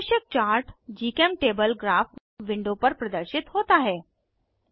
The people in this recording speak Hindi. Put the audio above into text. आवश्यक चार्ट जीचेमटेबल ग्राफ विंडो पर प्रदर्शित होता है